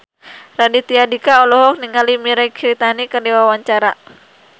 Raditya Dika olohok ningali Mirei Kiritani keur diwawancara